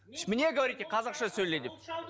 мне говорите қазақша сөйле деп